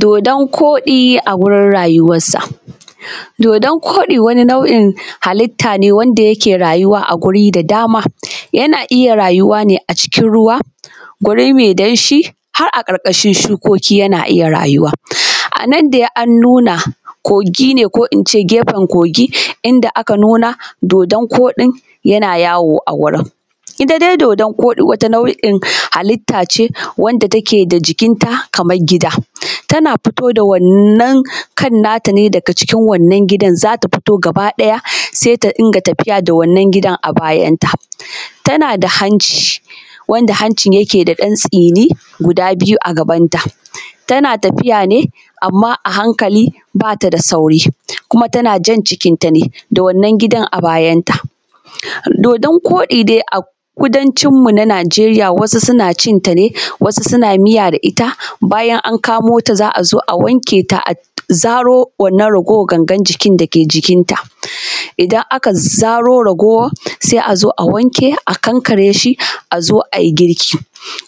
Dodon koɗi a wurin rayuwar sa, dodon koɗi wani nau’in hallita ne wanda yake rayuwa a guri da dama, yana iya rayuwa ne a cikin ruwa guri mai danshi har a karkashin shukoki yana iya rayuwa, a nan dai an nuna kogi ne ko ince kefen kogi inda aka nuna dodon koɗin yana yawo a wurin, ita dai dodon koɗi wata nau’in hallita ce wanda take da jikinta kamar gida tana fito da wannan kan nata ne daga cikin wannan gidan zata fito gaba ɗaya sai ta dinka tafita da wannan gidan a bayan ta, tana da hanci wanda hancin yake da dan tsini guda biyu a gabanta tana tafiya ne amma a hankali bata da sauri kuma tana jan jikin ta ne da wannan gidan a bayanta, dodon koɗi a kudancinmu na Nijeriya wasu suna cinta ne wasu suna miya da ita bayan an kamo ta za a zo a wanke ta a zaro raguwar wannan gangan jiki da ke jikinta idan aka zaro raguwar zai a zo a wanke a kankare shi a zo ayi girki